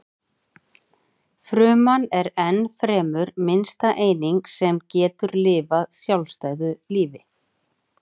Fruman er ennfremur minnsta eining sem getur lifað sjálfstæðu lífi.